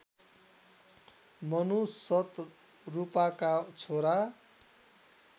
मनु सतरूपाका छोरा